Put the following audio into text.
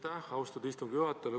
Aitäh, austatud istungi juhataja!